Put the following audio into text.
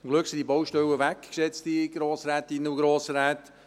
Zum Glück sind diese Baustellen weg, geschätzte Grossrätinnen und Grossräte.